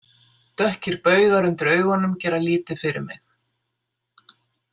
Dökkir baugar undir augunum gera lítið fyrir mig.